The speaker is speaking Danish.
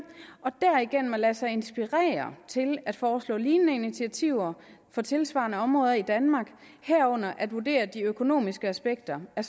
og derigennem lade sig inspirere til at foreslå lignende initiativer for tilsvarende områder i danmark herunder at vurdere de økonomiske aspekter af